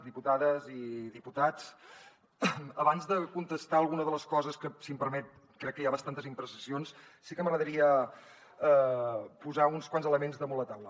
diputades i diputats abans de contestar alguna de les coses que si m’ho permet crec que hi ha bastantes imprecisions sí que m’agradaria posar uns quants elements damunt la taula